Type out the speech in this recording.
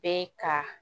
Bɛ ka